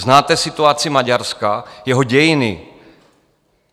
Znáte situaci Maďarska, jeho dějiny?